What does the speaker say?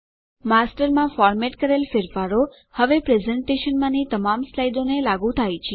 માસ્ટરમાં format કરેલ ફેરફારો હવે પ્રેઝેંટેશનમાંની તમામ સ્લાઇડોને લાગુ થાય છે